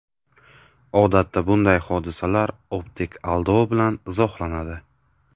Odatda bunday hodisalar optik aldov bilan izohlanadi.